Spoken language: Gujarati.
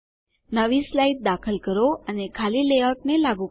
નવી સ્લાઇડ દાખલ કરો અને ખાલી લેઆઉટને લાગુ કરો